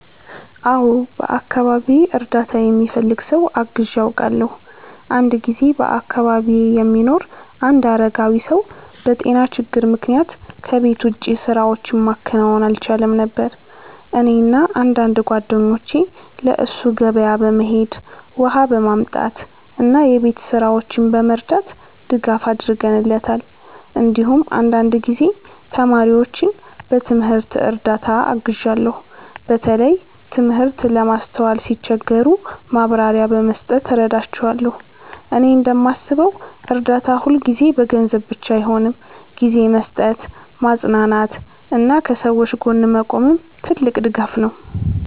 አዎ፣ በአካባቢዬ እርዳታ የሚፈልግ ሰው አግዤ አውቃለሁ። አንድ ጊዜ በአካባቢዬ የሚኖር አንድ አረጋዊ ሰው በጤና ችግር ምክንያት ከቤት ውጭ ስራዎችን ማከናወን አልቻለም ነበር። እኔና አንዳንድ ጓደኞቼ ለእሱ ገበያ በመሄድ፣ ውሃ በማምጣት እና የቤት ስራዎችን በመርዳት ድጋፍ አድርገንለታል። እንዲሁም አንዳንድ ጊዜ ተማሪዎችን በትምህርት እርዳታ አግዣለሁ፣ በተለይ ትምህርት ለማስተዋል ሲቸገሩ ማብራሪያ በመስጠት እረዳቸዋለሁ። እኔ እንደማስበው እርዳታ ሁልጊዜ በገንዘብ ብቻ አይሆንም፤ ጊዜ መስጠት፣ ማጽናናት እና ከሰዎች ጎን መቆምም ትልቅ ድጋፍ ነው።